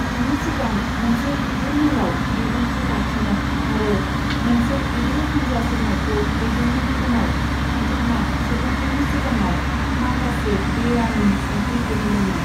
बिनि सिगां, मोनसे गिदिर मेलाव बिबुंथि लाखिनो आरो मोनसे गिदिर हान्जा सुरनायखौ दैदेन्नायनि उनाव, बिथाङा सुबुंफोरनि सिगाङाव माखासे बेआइनि संख्रि दिहुन्दोंमोन।